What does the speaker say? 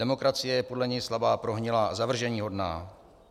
Demokracie je podle něj slabá, prohnilá a zavrženíhodná.